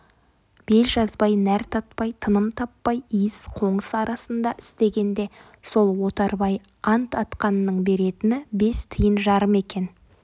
бел жазбай нәр татпай тыным таппай иіс-қоңыс арасында істегенде сол отарбай ант атқанның беретіні бес тиын жарым екен